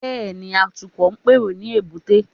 Bẹ́ẹ̀ni, Atukọ̀ ń pèrò ní èbúté